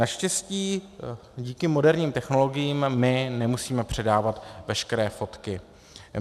Naštěstí díky moderním technologiím my nemusíme předávat veškeré fotky.